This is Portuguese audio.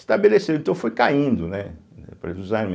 Estabeleceu, então foi caindo, né, o preço dos